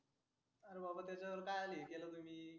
आरे बाबा त्याच्या जवळ कायाला हे केलं तुम्ही.